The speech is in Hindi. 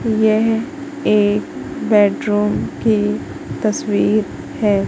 यह एक बेडरूम की तस्वीर है।